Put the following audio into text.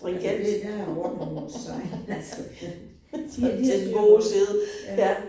Altså det der jo ordnung must sein altså ja de har de har styr på det ja